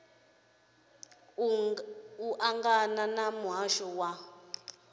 ḽo ṱangana na muhasho wa